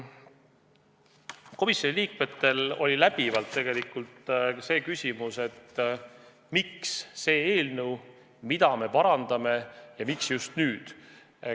Komisjoni liikmetel oli tegelikult ka küsimus, miks see eelnõu just nüüd on välja käidud.